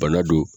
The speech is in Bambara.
Bana don